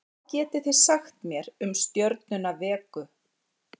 Hvað getið þið sagt mér um stjörnuna Vegu?